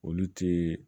Olu ti